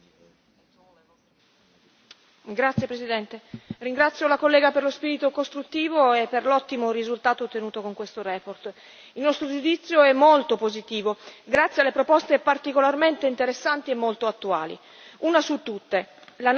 Signor Presidente, onorevoli colleghi, ringrazio la collega per lo spirito costruttivo e per l'ottimo risultato ottenuto con questa relazione. Il nostro giudizio è molto positivo, grazie alle proposte particolarmente interessanti e molto attuali. Una su tutte l'analisi del fenomeno dell'emarginazione.